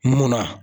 Munna